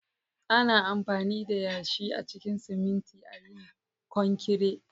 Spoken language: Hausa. Ana amfani da yashi a cikin siminti a yin konkire